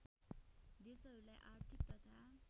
देशहरूलाई आर्थिक तथा